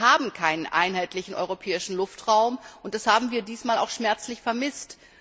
Wir haben keinen einheitlichen europäischen Luftraum, und das haben wir auch diesmal schmerzlich vermisst.